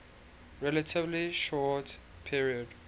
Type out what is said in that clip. relatively short period